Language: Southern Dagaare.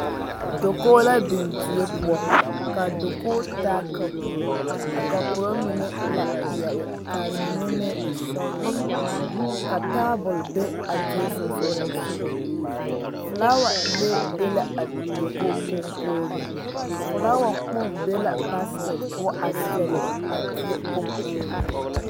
Dakogi la biŋ die poɔ kaa dakogi taa kapuro a kapuro mine e la peɛle kaa mine e sɔglɔ ka tabol be a die sonsogle soga filaawa lee be la a dakogi koɔkɔɔle filaawa kpoŋ be la baasiket poɔ a seele a die kɔnkɔɔle.